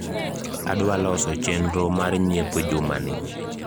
adwa loso chenro mar nyiepo juma ni